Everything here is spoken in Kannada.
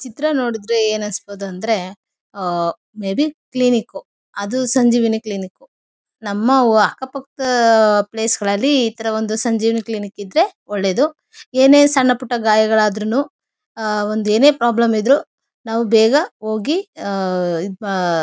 ಚಿತ್ರ ನೋಡಿದ್ರೆ ಏನನಿಸಬಹುದು ಅಂದ್ರೆ ಆ ಮೇ ಬಿ ಕ್ಲಿನಿಕ್ ಅದು ಸಂಜೀವಿನಿ ಕ್ಲಿನಿಕ್ ನಮ್ಮವ್ವ ಅಕ್ಕ ಪಕ್ಕ ಪ್ಲೇಸ್ ಗಳಲ್ಲಿ ಈ ತರ ಒಂದು ಸಂಜೀವಿನಿ ಕ್ಲಿನಿಕ್ ಇದ್ರೆ ಒಳ್ಳೇದು ಏನೇ ಸಣ್ಣ ಪುಟ್ಟ ಗಾಯಗಳಾದ್ರೂನು ಆ ಒಂದು ಏನೇ ಪ್ರಾಬ್ಲಮ್ ಇದ್ರು ನಾವು ಬೇಗ ಹೋಗಿ ಆ ಈ.